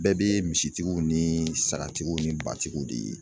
Bɛɛ bɛ misitigiw ni sagatigiw ni batigiw de ye.